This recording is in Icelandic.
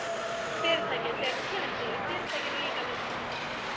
Fyrirtækið, þegar þú kynnist því, og Fyrirtækinu líkar við þig.